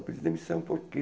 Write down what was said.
Eu pedi demissão porque...